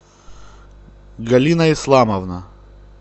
галина исламовна